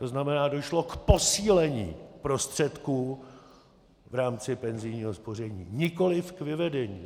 To znamená, došlo k posílení prostředků v rámci penzijního spoření, nikoliv k vyvedení.